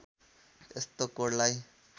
यस्तो कोडलाई